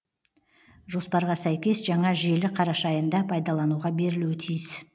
жоспарға сәйкес жаңа желі қараша айында пайдалануға берілуі тиіс